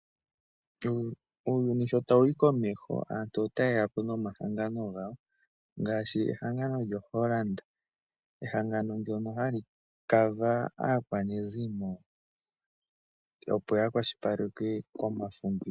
Uuyuni shootawuyi komeho aantu otaye yapo nomahangano ngaashi lyo Holland oku kwashilipaleka omafumbiko gaakwanezimo lyawo